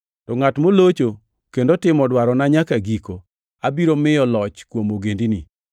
To ngʼat molocho kendo timo dwarona nyaka giko, abiro miyo loch kuom ogendini.